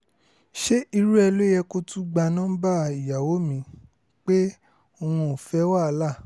ṣé irú ẹ̀ ló yẹ kó o tún gba nọmba ìyàwó mi pé òun ò fẹ́ wàhálà